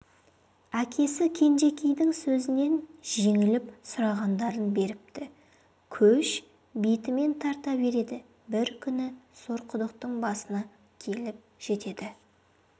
әкесі кенжекейдің сөзінен жеңіліп сұрағандарын беріпті көш бетімен тарта береді бір күні сорқұдықтың басына келіп жетеді